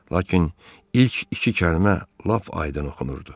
Lakin ilk iki kəlmə lap aydın oxunurdu.